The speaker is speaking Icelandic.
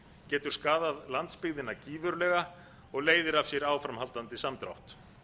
getur skaðað landsbyggðina gífurlega og leiðir af sér áframhaldandi samdrátt